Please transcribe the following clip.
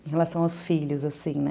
Em relação aos filhos, assim, né?